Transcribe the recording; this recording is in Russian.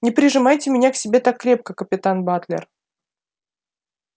не прижимайте меня к себе так крепко капитан батлер